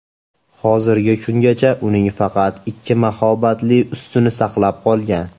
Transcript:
Hozirgi kungacha uning faqat ikki mahobatli ustuni saqlanib qolgan.